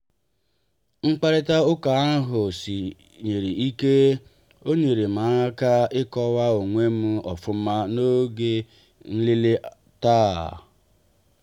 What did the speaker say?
mkparita ụka ahụ siri ike ọ nyere m aka ịkọwa onwem ofuma n'oge nlele taa.